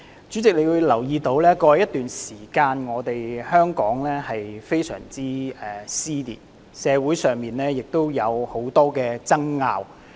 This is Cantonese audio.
主席，你也會留意到，在過去一段時間，香港社會出現嚴重撕裂，以及有很多爭拗。